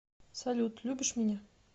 салют любишь меня